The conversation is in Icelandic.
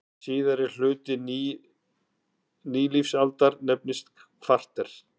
Síðari hluti nýlífsaldar nefnist kvarter.